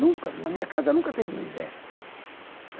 Nunca, na minha casa nunca teve miséria.